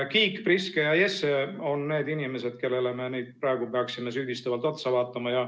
Kiik, Priske ja Jesse on need inimesed, kellele me praegu peaksime süüdistavalt otsa vaatama.